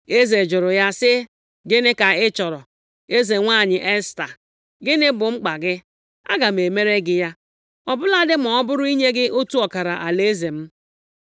Eze jụrụ ya sị, “Gịnị ka ị chọrọ, eze nwanyị Esta? Gịnị bụ mkpa gị? Aga m emere gị ya, ọ bụladị ma ọ bụrụ inye gị otu ọkara alaeze m.”